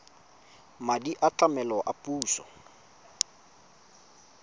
madi a tlamelo a puso